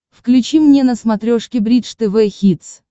включи мне на смотрешке бридж тв хитс